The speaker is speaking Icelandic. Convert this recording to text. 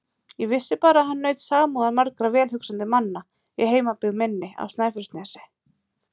Ég vissi bara að hann naut samúðar margra velhugsandi manna í heimabyggð minni á Snæfellsnesi.